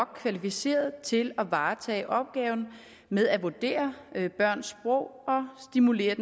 kvalificeret til at varetage opgaven med at vurdere børns sprog og stimulere